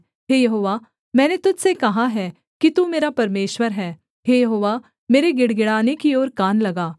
हे यहोवा मैंने तुझ से कहा है कि तू मेरा परमेश्वर है हे यहोवा मेरे गिड़गिड़ाने की ओर कान लगा